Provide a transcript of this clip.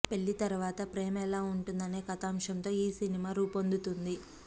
పెళ్లి తర్వాత ప్రేమ ఎలా ఉంటుంది అనే కథాంశంతో ఈ సినిమా రూపొందుతుంది